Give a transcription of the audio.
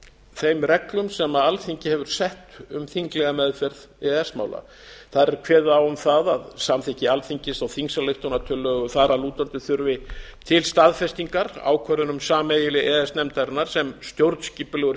þeim reglum sem alþingi hefur sett um þinglega meðferð e e s mála þar er kveðið á um það að samþykki alþingis á þingsályktunartillögu þar að lútandi þurfi til staðfestingar ákvörðunum sameiginlegu e e s nefndarinnar sem stjórnskipulegur